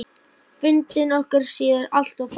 Fundir okkar síðar alltof fáir.